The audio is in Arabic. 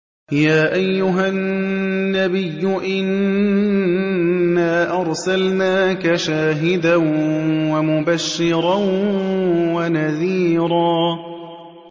يَا أَيُّهَا النَّبِيُّ إِنَّا أَرْسَلْنَاكَ شَاهِدًا وَمُبَشِّرًا وَنَذِيرًا